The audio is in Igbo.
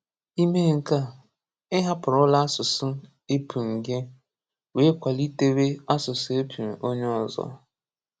Í méè nkè á, ị́ hápụrụ̀là àsụsụ épùṃ gị́ wéé kwàlítéwè àsụsụ épùṃ onye ọ̀zọ̀.